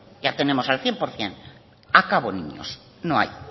ya tenemos el cien por cien acabo niños no hay